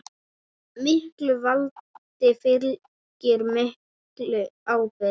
Miklu valdi fylgir mikil ábyrgð.